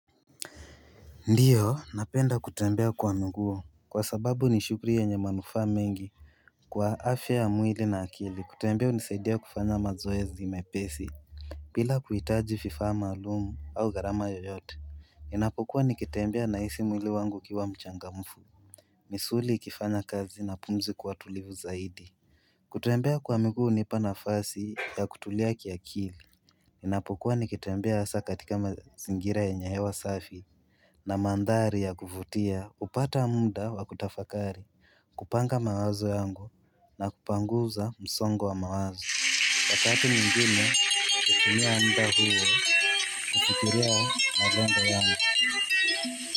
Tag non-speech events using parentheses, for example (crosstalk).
Ndio napenda kutembea kwa mguu kwa sababu ni shughuli yenye manufaa mengi Kwa afya ya mwili na akili kutembea hunisaidia kufanya mazoezi mepesi bila kuhitaji vifaa maalum au gharama yoyote Inapokuwa nikitembea nahisi mwili wangu ukiwa mchangamfu misuli ikifanya kazi na pumzi kuwa tulivu zaidi kutembea kwa miguu hunipa nafasi ya kutulia kiakili napokuwa nikitembea hasa katika mazingira yenye hewa safi na mandhari ya kuvutia upata muda wa kutafakari kupanga mawazo yangu na kupanguza msongo wa mawazo Wakati mginu kukumia anda huo kukitiria maglenda yangu (inaudible)